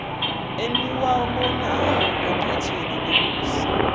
eniwabonayo enqatheni lobusi